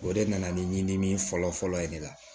O de nana ni ɲinini fɔlɔ fɔlɔ ye ne la